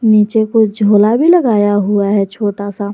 नीचे कुछ झूला भी लगाया हुआ है छोटा सा--